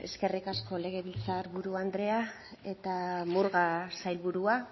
eskerrik asko legebiltzar buru andrea eta murga sailburua